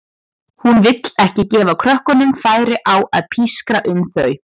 Hún vill ekki gefa krökkunum færi á að pískra um þau.